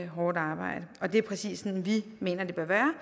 hårdt arbejde det er præcis sådan vi mener det bør være